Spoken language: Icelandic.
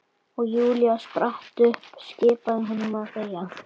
Og Júlía spratt upp, skipaði honum að þegja.